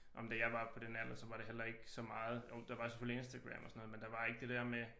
Ah men da jeg var på den alder så var det heller ikke så meget jo der var selvfølgelig Instagram og sådan noget men der var ikke det dér med